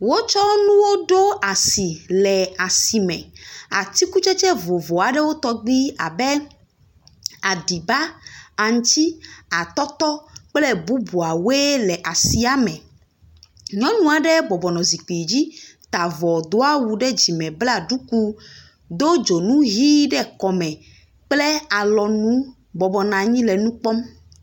Wotsɔ nuwo ɖo asi, atikutsetse vovovo aeɖwo tɔgbi abe aɖiba, aŋuti, atɔtɔ kple bubuawoe le asiame. Nyɔnu aɖe bɔbɔnɔ zikpui dzi, ta avɔ do awu ɖe dzime bla duku, do dzonu ʋi aɖe ɖe kɔme kple alɔnu bɔbɔnɔ anyi le nu kpɔm.